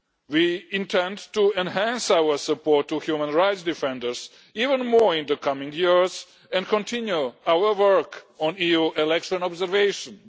We intend to enhance our support to human rights defenders even more in the coming years and continue our work on EU election observations.